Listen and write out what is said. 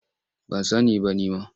Ban sani ba nima.